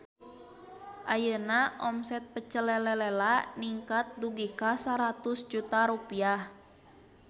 Ayeuna omset Pecel Lele Lela ningkat dugi ka 100 juta rupiah